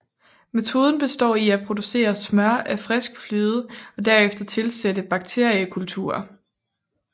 Metoden består i at producere smør af frisk fløde og derefter tilsætte bakteriekulturer